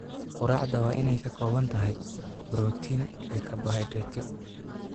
Quraacda waa inay ka kooban tahay borotiin iyo karbohaydraytyo.